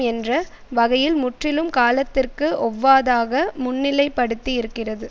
என்ற வகையில் முற்றிலும் காலத்திற்கு ஒவ்வாதாக முன்னிலைப்படுத்தி இருக்கிறது